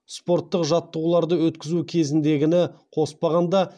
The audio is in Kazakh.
спорттық жаттығуларды өткізу кезіндегіні қоспағанда